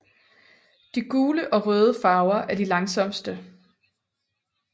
De gule og røde farver er de langsomste